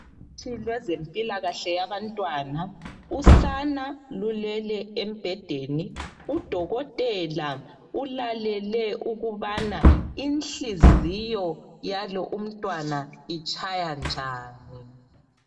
Uluhlu lwezempilakahle yabantwana usana lulele embhedeni udokotela ulalele ukubana inhliziyo yalo umntwana itshaya njani